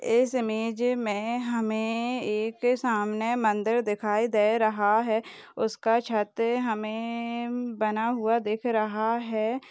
इस इमेज मे हमे एक सामने मंदिर दिखाई दे रहा है उसका छत हमे बना हुआ दिख रहा है।